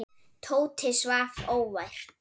Tóti svaf óvært.